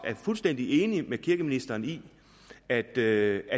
fuldstændig enig med kirkeministeren i at det